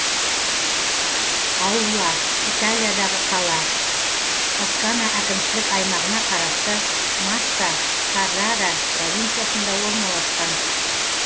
аулла италиядағы қала тоскана әкімшілік аймағына қарасты масса каррара провинциясында орналасқан